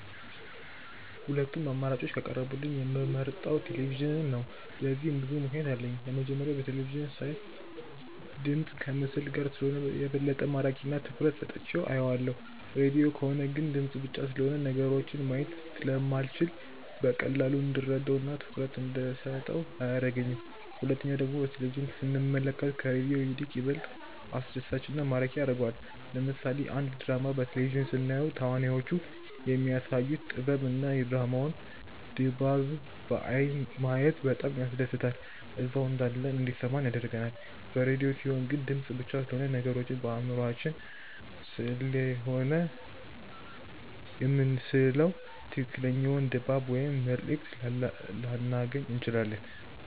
ሁለቱም አማራጮች ከቀረቡልኝ የምመርጠው ቴሌቪዥንን ነው። ለዚህም ብዙ ምክንያት አለኝ። የመጀመሪያው በቴለቪዥን ሳይ ድምፅ ከምስል ጋር ስለሆነ የበለጠ ማራኪ እና ትኩረት ሰጥቼው አየዋለሁ። ሬድዮ ከሆነ ግን ድምፅ ብቻ ስለሆነ ነገሮችን ማየት ስለማልችል በቀላሉ እንድረዳው እና ትኩረት እንደሰጠው አያደርገኝም። ሁለተኛው ደግሞ በቴሌቪዥን ስንመለከት ከሬዲዮ ይልቅ ይበልጥ አስደሳች እና ማራኪ ያደርገዋል። ለምሳሌ አንድ ድራማ በቴሌቪዥን ስናየው ተዋናዮቹ የሚያሳዩት ጥበብ እና የድራማውን ድባብ በአይን ማየት በጣም ያስደስታል እዛው እንዳለን እንዲሰማን ያደርጋል። በሬድዮ ሲሆን ግን ድምፅ ብቻ ስለሆነ ነገሮችን በአእምሯችን ስሴሆነ የምንስለው ትክክለኛውን ድባብ ወይም መልእክት ላላገኝ እችላለሁ።